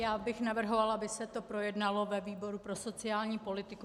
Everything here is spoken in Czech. Já bych navrhovala, aby se to projednalo ve výboru pro sociální politiku.